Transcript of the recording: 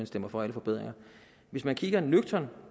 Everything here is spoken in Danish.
stemmer for alle forbedringer hvis man kigger nøgternt